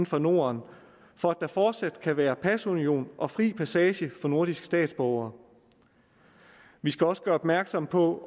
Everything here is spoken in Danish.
for norden for at der fortsat kan være pasunion og fri passage for nordiske statsborgere vi skal også gøre opmærksom på